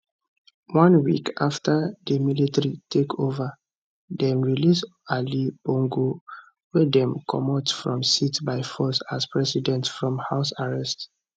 one week afta di military takeova dem release oga ali bongo wey dem comot from seat by force as president from house arrest